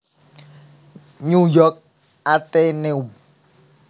New York Atheneum